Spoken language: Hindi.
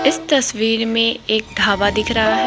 इस तस्वीर में एक ढाबा दिख रहा--